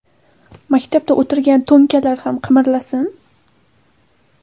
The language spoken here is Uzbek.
Maktabda o‘tirgan ‘to‘nkalar’ ham qimirlasin.